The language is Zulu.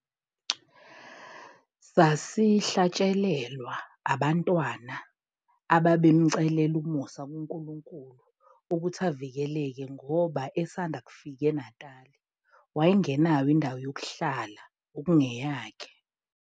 Sasihlatshelelwa abantwana ababemcelela umusa kuNkukunkulu ukuthi avikeleke ngoba esanda kufika eNatali wayengenayo indawo yokuhlala okungeyakhe.